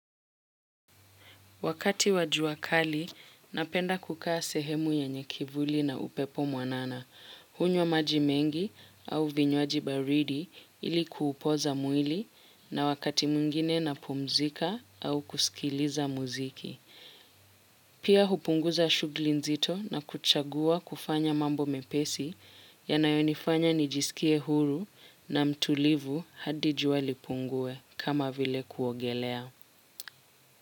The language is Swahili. Wakati wa jua kali, napenda kukaa sehemu yenye kivuli na upepo mwanana. Hunywa maji mengi au vinywaji baridi ili kupoza mwili na wakati mwingine napumzika au kusikiliza muziki. Pia hupunguza shughuli nzito na kuchagua kufanya mambo mepesi yanayonifanya nijisikie huru na mtulivu hadi jua lipungue kama vile kuogelea.